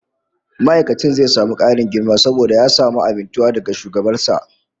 Ma'aikacin zai samu karin girma saboda ya samu amintuwa daga shugaban sa